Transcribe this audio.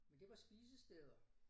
Men det var spisesteder